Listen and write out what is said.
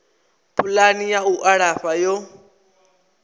pulani ya u alafha yo